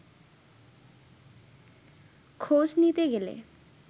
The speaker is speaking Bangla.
খোঁজ নিতে গেলে